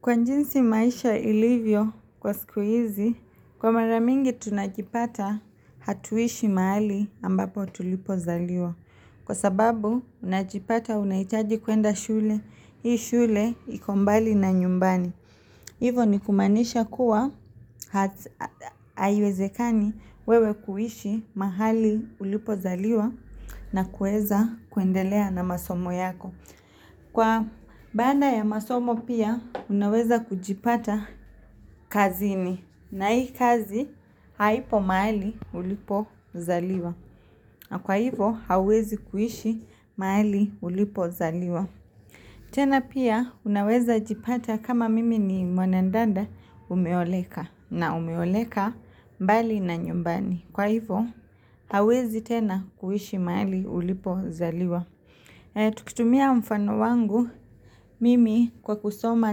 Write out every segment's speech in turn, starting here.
Kwa jinsi maisha ilivyo kwa siku hizi, kwa mara mingi tunajipata hatuishi mahali ambapo tulipo zaliwa. Kwa sababu, unajipata unahitaji kuenda shule, hii shule iko mbali na nyumbani. Hivo ni kumaanisha kuwa, ha haiwezekani wewe kuishi mahali ulipo zaliwa na kueza kuendelea na masomo yako. Kwa baanda ya masomo pia unaweza kujipata kazini na hii kazi haipo mahali ulipo zaliwa na kwa hivo hauwezi kuishi mahali ulipo zaliwa. Tena pia unaweza jipata kama mimi ni mwanandanda umeoleka na umeoleka mbali na nyumbani kwa hivo huawezi tena kuishi mahali ulipo zaliwa. Tukitumia mfano wangu, mimi kwa kusoma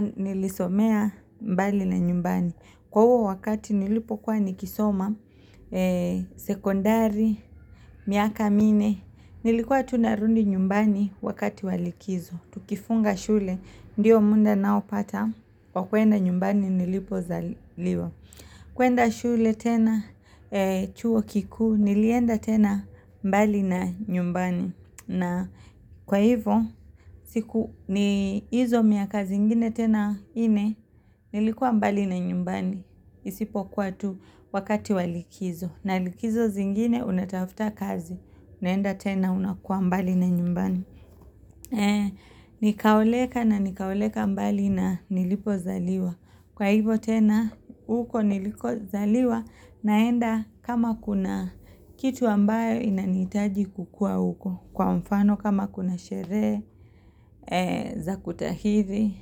nilisomea mbali na nyumbani Kwa huo wakati nilipokuwa nikisoma, sekondari, miaka minne Nilikuwa tu narudi nyumbani wakati wa likizo. Tukifunga shule, ndio munda nao pata, kwa kuenda nyumbani nilipo zaliwa kuenda shule tena, chuo kikuu, nilienda tena mbali na nyumbani na kwa hivo, siku ni hizo miaka zingine tena nne, nilikuwa mbali na nyumbani. Isipo kuwa tu wakati wa likizo. Na likizo zingine, unatafuta kazi. Naenda tena unakuwa mbali na nyumbani. Nikaoleka na nikaoleka mbali na nilipo zaliwa. Kwa hivo tena, huko niliko zaliwa. Naenda kama kuna kitu ambayo inanihitaji kukua huko. Kwa mfano kama kuna sherehe za kutahithi,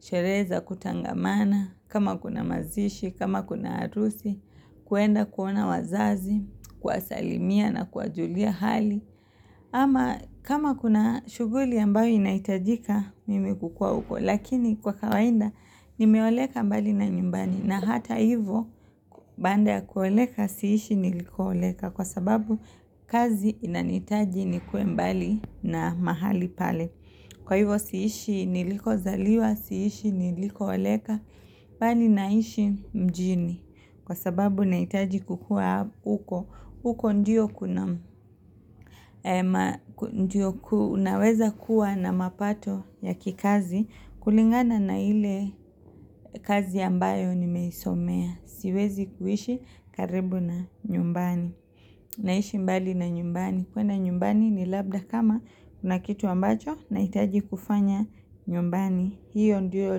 sherehe za kutangamana, kama kuna mazishi, kama kuna harusi, kuenda kuona wazazi, kuwasalimia na kuwajulia hali. Ama kama kuna shughuli ambayo inahitajika mimi kukuwa huko lakini kwa kawainda nimeoleka mbali na nyumbani na hata hivo baanda ya kuoleka si ishi niliko oleka kwa sababu kazi inanihitaji nikuwe mbali na mahali pale. Kwa hivyo si ishi niliko zaliwa, si ishi niliko oleka, bali naishi mjini. Kwa sababu nahitaji kukua apo huko, huko ndio kuna ndio kunaweza kuwa na mapato ya kikazi, kulingana na ile kazi ambayo nimeisomea. Siwezi kuishi karibu na nyumbani. Naishi mbali na nyumbani, kwenda nyumbani ni labda kama kuna kitu ambacho nahitaji kufanya nyumbani, hiyo ndio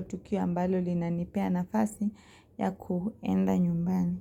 tukio ambalo linanipea nafasi ya kuenda nyumbani.